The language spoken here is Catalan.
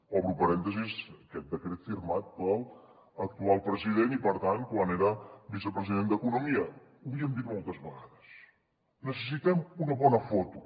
obro parèntesi aquest decret firmat per l’actual president i per tant quan era vicepresident d’economia ho havíem dit moltes vegades necessitem una bona foto